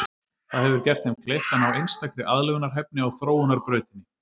Það hefur gert þeim kleift að ná einstakri aðlögunarhæfni á þróunarbrautinni.